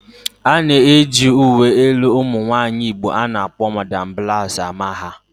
A na-eji uwe elu ụmụ nwaanyị Igbo a na-akpọ 'Madam Blouse'' ama ha